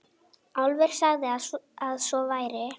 Álfur sagði að svo væri.